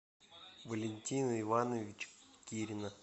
валентина ивановича кирина